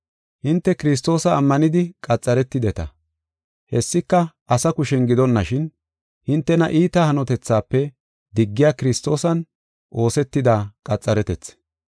Hinte Kiristoosa ammanidi qaxaretideta. Hessika asa kushen gidonashin, hintena iita hanotethaafe diggiya Kiristoosan oosetida qaxaretethi.